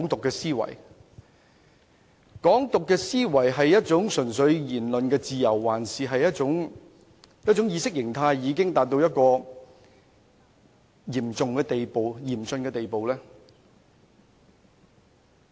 這種"港獨"思維究竟純粹只是言論自由，還是一種意識形態已達到嚴峻程度的問題呢？